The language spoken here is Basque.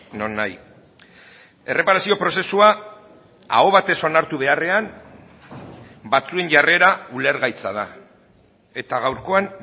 nonahi erreparazio prozesua aho batez onartu beharrean batzuen jarrera ulergaitza da eta gaurkoan